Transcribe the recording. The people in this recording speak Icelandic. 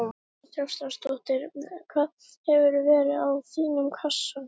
María Lilja Þrastardóttir: Hvað hefði verið í þínum kassa?